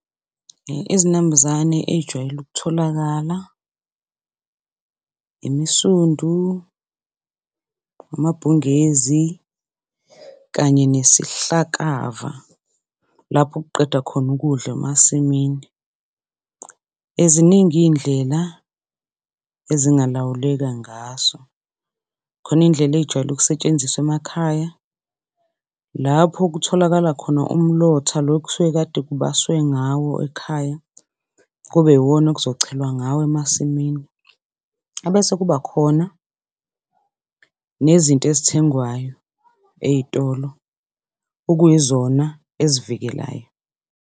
Izinambuzane ey'jwayele ukutholakala imisundu, amabhungezi kanye nesihlakava lapho ukuqeda khona ukudla emasimini. Ziningi iy'ndlela ezingalawuleka ngaso, khona iy'ndlela ey'jwayele ukusetshenziswa emakhaya lapho kutholakala khona umlotha lo okusuke kade kubaswe ngawo ekhaya kube iwona ekuzochelwa ngawo emasimini. Ebese kuba khona nezinto ezithengwayo ey'tolo okuyizona ezivikelayo.